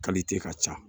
ka ca